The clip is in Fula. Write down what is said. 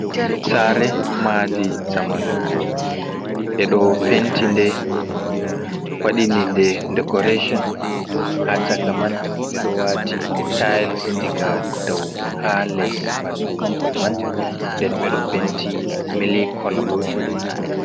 Saare madi zamanu ɓe ɗo penti nde, waɗini nde decoration ha chaka man, ɓe ɗo wati tiles diga dou ha les ɓandu mahol man, nden ɓe ɗo penti milik kolo.